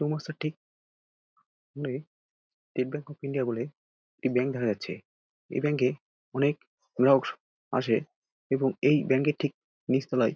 State bank of India বলে একটি bank দেখা যাচ্ছে। এই ব্যাঙ্ক -এ অনেক লোক আসে এবং এই ব্যাঙ্ক এর ঠিক নিচ তলায়--